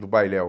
do bailel.